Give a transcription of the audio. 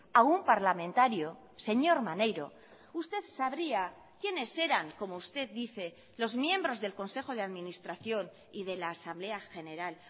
a un parlamentario señor maneiro usted sabría quienes eran como usted dice los miembros del consejo de administración y de la asamblea general